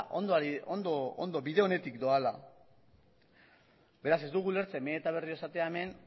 bide onetik doala beraz ez dugu ulertzen behin eta berriro esatea hemen